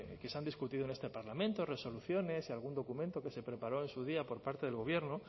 que se han discutido en este parlamento resoluciones y algún documento que se preparó en su día por parte del gobierno